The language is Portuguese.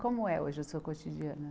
Como é hoje a sua cotidiana?